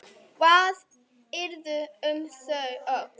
Hvað yrði um þau öll?